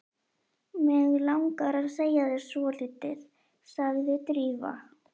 Mig langar að segja þér svolítið sagði Drífa.